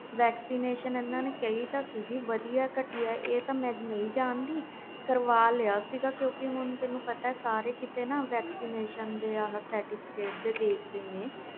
vaccination ਕਹੀ ਤੇ ਸਹੀ ਸੀ ਵਧੀਆ ਘਟੀਆ ਪਰ ਮੈਂ ਕਰ ਵਾਲੀ ਸੀ ਤੈਨੂੰ ਪਤਾ ਸਾਰੇ ਕੀਤੇ vaccination ਦੇ certificate ਦੇਖ ਦੇ ਨੇ